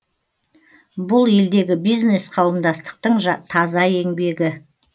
бұл елдегі бизнес қауымдастықтың таза еңбегі